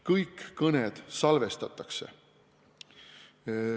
Kõik kõned salvestatakse.